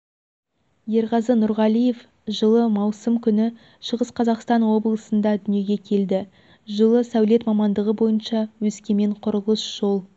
ерғазы нұрғалиев жылы маусым күні шығыс қазақстан облысында дүниеге келді жылы сәулет мамандығы бойынша өскемен құрылыс-жол